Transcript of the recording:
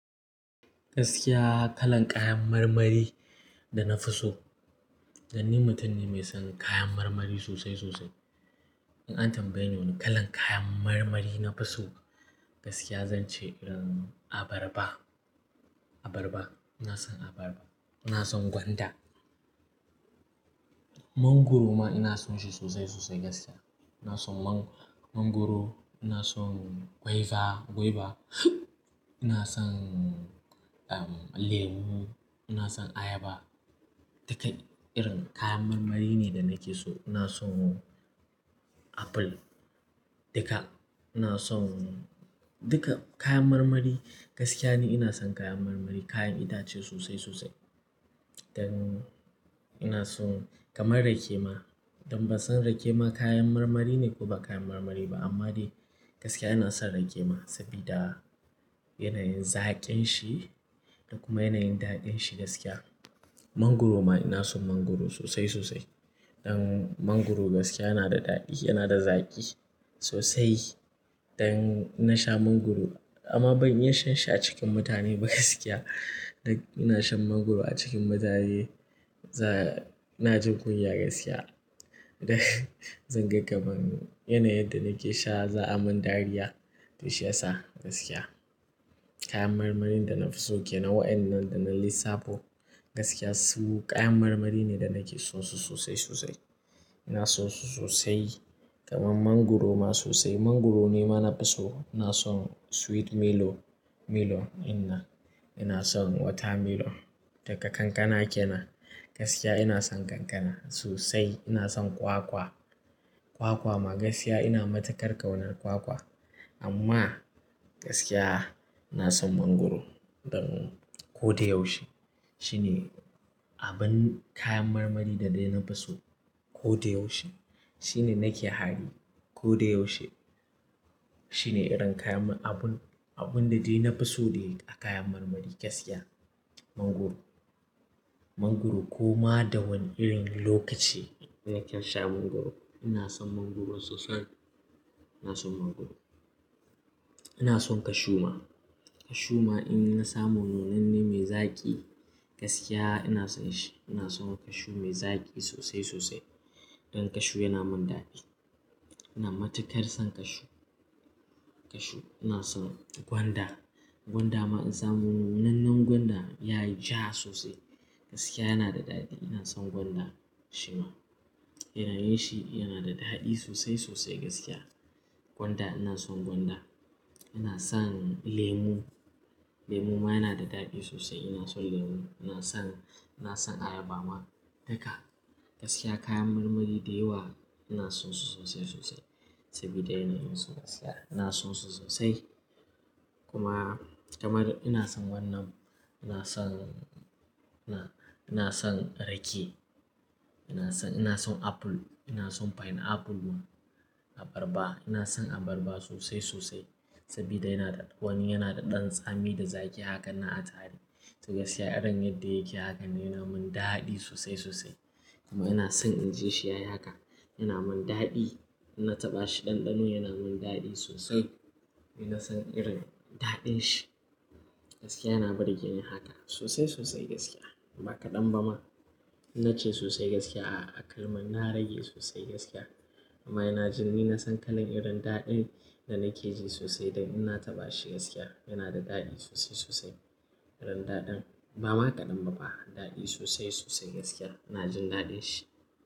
Gaskiya kalan kayan marmari da na fi so. Dan ni mutum ne mai son kayan marmari sosai sosai. In an tambaye ni wane kalan kayan marmari na fi so gaskiya zan ce, um, abarba. Abarba. Ina son abarba. Ina son gwanda. Mangwaro ma ina son shi sosai sosai gaskiya. Ina son mang-mangwaro, ina son guava, guava. Ina son, um, lemu, ina son ayaba. Duka irin kayan marmari ne da nake so. Ina son apple. Duka ina son duka kayan marmari. Gaskiya ni ina son kayan marmari, kayan itace sosai sosai. Dan ina son kamar rake ma. Dan ban san rake ma kayan marmari ne ko ba kayan marmari ba amma dai gaskiya ina son rake ma sabida yanayin zaƙin shi da kuma yanayin daɗin shi gaskiya. Mangwaro ma ina son mangwaro sosai sosai. Dan mangwaro gaskiya yana da daɗi, yana da zaƙi sosai. Dan ina sha mangwaro amma ban iya shan sha cikin mutane ba gaskiya. Dan ina shan mangwaro a cikin mutane, za-- ina jin kunya gaskiya. Da zan ga kamar yanayin da nake sha za a mun dariya to shiyasa gaskiya. Kayan marmarin da na fi so kenan wa'inan da na lissafo gaskiya su kayan marmari ne da nake so su sosai sosai. Ina so su sosai kamar mangwaro ma sosai. Mangwaro ne ma na fi so. Ina son sweet melon, melon ina. Ina son water melon. Ita kankana ke nan. Gaskiya ina son kankana sosai. Ina son kwakwa. Kwakwa ma gaskiya ina matukar ƙaunar kwakwa. Amma gaskiya ina son mangwaro. Dan ko da yaushe shine abin kayan marmari da dai na fi so ko da yaushe. Shine nake hari ko da yaushe. Shine irin kayan abun, abun da dai na fi so dai a kayan marmari gaskiya mangwaro. Mangwaro ko ma da wane irin lokaci na kan sha mangwaro. Ina son mangwaro sosai. Ina son mangwaro. Ina son cashew ma. Cashew ma in na samu nunanne mai zaƙi gaskiya ina son shi. Ina son cashew mai zaƙi sosai sosai. Dan cashew yana mun daɗi. Ina matukar son cashew. Cashew. Ina son gwanda. Gwanda ma in samu nunannun gwanda ya yi ja sosai gaskiya yana da daɗi. Ina son gwanda shi ma. Yanayin shi yana da daɗi sosai sosai gaskiya. Gwanda ina son gwanda. Ina son lemu. Lemu ma yana da daɗi sosai. Ina son lemu. Ina son, ina son ayaba ma duka. Gaskiya kayan marmari dayawa ina son su sosai sosai sabida yanayin su gaskiya. Ina son su sosai. Kuma kamar ina son wannan, ina son, ina, ina son rake. Ina son, ina son apple. Ina son pineapple kuma. Abarba. Ina son abarba sosai sosai sabida yana da wani yana da ɗan tsami da zaƙi hakan nan a tare. To gaskiya irin yadda yake hakan ne yana mun daɗi sosai sosai. Kuma ina son in ji shi yayi haka. Yana mun daɗi. In na taɓa shi ɗanɗano yana mun daɗi sosai. Ina son irin daɗin shi. Gaskiya yana burgeni haka sosai sosai gaskiya. Ba kaɗan ba ma. In na ce sosai gaskiya a, a kalman na rage sosai gaskiya. Kuma ina jin ni na san kalan irin daɗin da nake ji sosai dan ina taɓa shi gaskiya. Yana da daɗi sosai sosai irin daɗin. Ba ma kaɗan ba fa. Daɗi sosai sosai gaskiya. Ina jin daɗin shi.